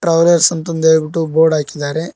Travels ಅಂತ ಅಂದ ಹೇಳ್ಬಿಟ್ಟು ಬೋರ್ಡ್ ಹಾಕಿದ್ದಾರೆ.